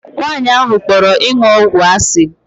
Nwaanyị ahụ kpọrọ ịṅụ ọgwụ asị.